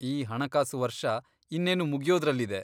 ಈ ಹಣಕಾಸು ವರ್ಷ ಇನ್ನೇನು ಮುಗ್ಯೋದ್ರಲ್ಲಿದೆ.